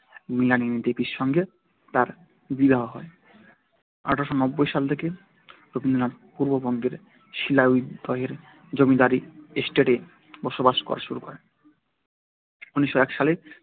মৃণালিনী দেবীর সঙ্গে তার বিবাহ হয় এক হাজার আট শোনব্বই সাল থেকে রবীন্দ্রনাথ পূর্ববঙ্গের শিলাইদহের জমিদারি এস্টেটে বসবাস শুরু করেন ঊনিশোও এক সালে